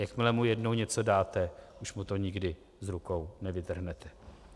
Jakmile mu jednou něco dáte, už mu to nikdy z rukou nevytrhnete.